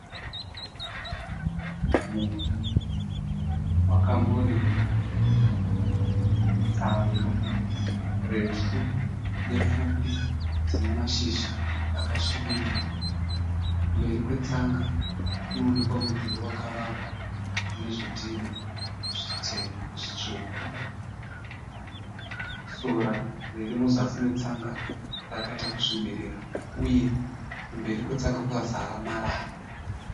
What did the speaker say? Munda wakambo rimwa. Tsanga refu nepfupi dzine mashizha akasvibirira. Mberi kwetsanga kunoonekwa mudhuri wavakwa unezvidhina zvitema zvitsvuku. Sora riri muzasi metsanga rakaita kusvibirira uye kumberi kwetsanga kwakazara marara.